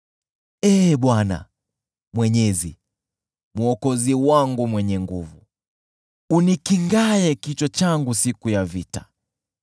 Ee Bwana Mwenyezi, Mwokozi wangu mwenye nguvu, unikingaye kichwa changu siku ya vita: